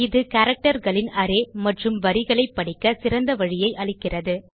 இது கேரக்டர் களின் அரே மற்றும் வரிகளை படிக்கச் சிறந்த வழியை அளிக்கிறது